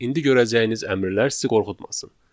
İndi görəcəyiniz əmrlər sizi qorxutmasın.